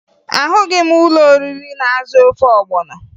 Ahụghị m ụlọoriri na-azụ ofe ọgbọnọ